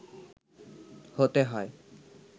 হতে হয়